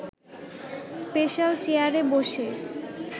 special চেয়ারে বসে